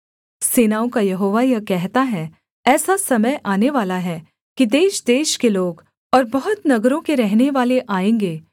सेनाओं का यहोवा यह कहता है ऐसा समय आनेवाला है कि देशदेश के लोग और बहुत नगरों के रहनेवाले आएँगे